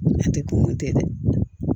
Ne tɛ dumuni kɛ dɛ